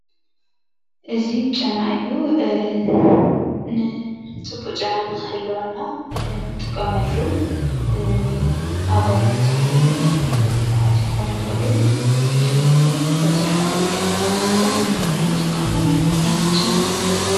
እዚ ጨና እዩ ንፅቡቅ ጨና ንክህልወና እንጥቀመሉ ኣጓላት ይኩኑ ወይም ደቂ ተባዕትዮ ክኮኑ ይክእሉ ብፍላይ ግን ብኣብዝሓ ደቂ ኣንስትዮ እንጥቀሞ ዓይነት ጨና እዩ።